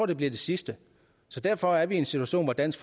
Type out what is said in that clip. det bliver det sidste så derfor er vi i en situation hvor dansk